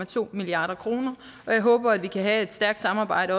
to milliard kroner og jeg håber at vi kan have et stærkt samarbejde